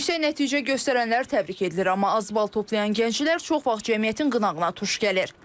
Yüksək nəticə göstərənlər təbrik edilir, amma az bal toplayan gənclər çox vaxt cəmiyyətin qınağına tuş gəlir.